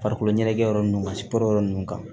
Farikolo ɲɛnajɛ yɔrɔ ninnu mansi kɔrɔ yɔrɔ ninnu kan